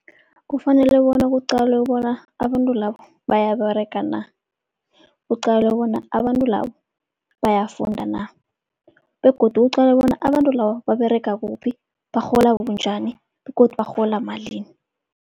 Kufanele bona kuqalwe bona abantu labo bayaberega na, kuqalwe bona abantu labo bayafunda na begodu kuqalwe bona abantu labo baberega kuphi, barhola bunjani begodu barhola malini.